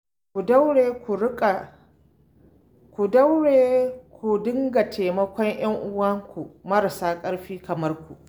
Ku daure ku dinga taimakon 'yanuwanku marasa ƙarfi kamar ku